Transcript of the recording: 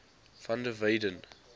van der weyden